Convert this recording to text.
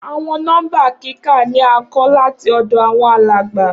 Awọn nọmba kika ni a nkọ lati ọdọ awọn alagba.